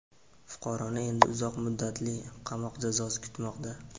Fuqaroni endi uzoq muddatli qamoq jazosi kutmoqda.